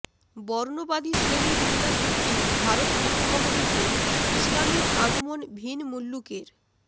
বর্ণবাদী শ্রেণী বিন্যাসভিত্তিক ভারত উপমহাদেশে ইসলামের আগমন ভিন মুল্লুকের